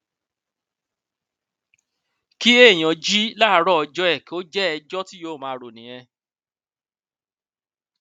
kí èèyàn jí láàárọ ọjọ ẹ kó jẹ ẹjọ tí yóò máa rò nìyẹn